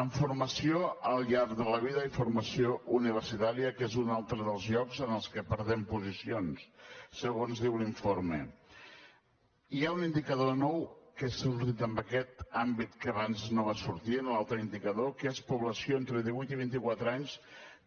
en formació al llarg de la vida i formació universitària que és un altre dels llocs en els que perdem posicions segons diu l’informe hi ha un indicador nou que ha sortit amb aquest àmbit que abans no va sortir en l’altre indicador que és població entre divuit i vint i quatre anys